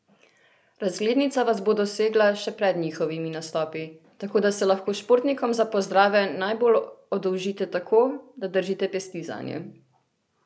Razglednica vas bo dosegla še pred njihovimi nastopi, tako da se lahko športnikom za pozdrave najbolj oddolžite tako, da držite pesti zanje!